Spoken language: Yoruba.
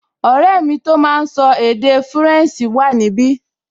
Ọ̀rẹ́ mi tó máa n sọ èdè fúrẹ̀nsì wà níbi